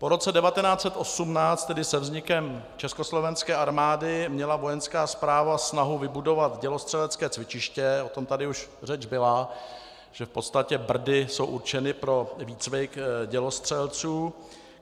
Po roce 1918, tedy se vznikem Československé armády, měla vojenská správa snahu vybudovat dělostřelecké cvičiště, o tom tady už řeč byla, že v podstatě Brdy jsou určeny pro výcvik dělostřelců.